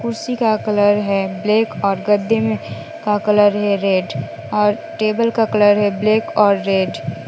कुर्सी का कलर है ब्लैक और गद्दे में का कलर है रेड और टेबल का कलर है ब्लैक और रेड ।